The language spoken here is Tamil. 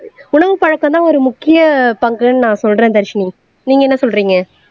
உணவு பழக்கம்தான் ஒரு முக்கிய பங்குன்னு நான் சொல்றேன் தர்ஷினி நீங்க என்ன சொல்றீங்க